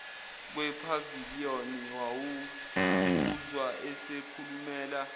kwephavaliyoni wawuzwa esekhulumela